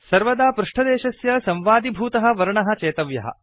सर्वदा पृष्टदेशस्य संवादिभूतः वर्णः चेतव्यः